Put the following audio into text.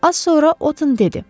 Az sonra Otın dedi: